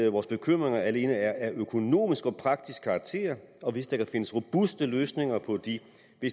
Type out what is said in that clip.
at vores bekymringer alene er af økonomisk og praktisk karakter og hvis der kan findes robuste løsninger på de